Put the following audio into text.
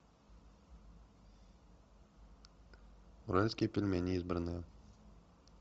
уральские пельмени избранное